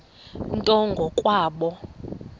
nto ngo kwabo